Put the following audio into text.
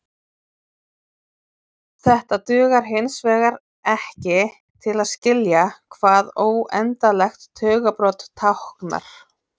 Þetta dugar hinsvegar ekki til að skilja hvað óendanlegt tugabrot táknar.